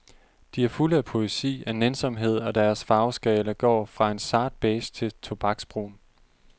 De er fulde af poesi, af nænsomhed, og deres farveskala går fra en sart beige til tobaksbrun.